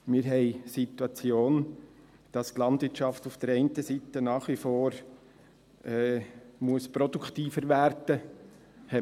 Wir haben die Situation, dass die Landwirtschaft auf der einen Seite nach wie vor produktiver werden muss.